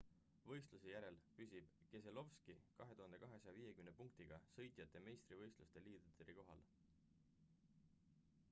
võistluse järel püsib keselowski 2250 punktiga sõitjate meistrivõistluste liidrikohal